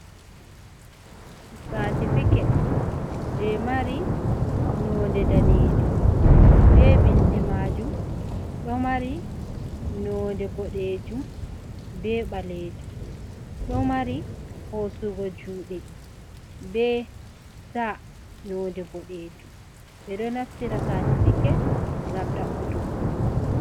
Satifiket, je mari nonde daneejum, be bindi maajum ɗo mari nonde boɗeejum be ɓaleejum. Ɗo mari hosugo juuɗe be sta nonde boɗeejum. Ɓe ɗo naftira satifiket ngam ɗabbutuggo kuugal.